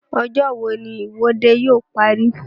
Ọjọ́ wo ni ìwọ́de yóò parí?